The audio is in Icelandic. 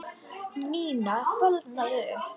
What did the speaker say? Nína fölnaði upp.